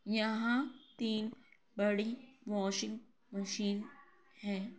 यहां तीन बड़ी वाशिंग मशीन हैं।